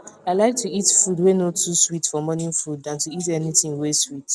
i like to eat food wae no too sweet for morning food than to eat anything wae sweet